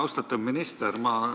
Austatud minister!